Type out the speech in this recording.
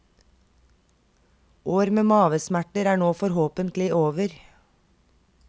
År med mavesmerter er nå forhåpentlig over.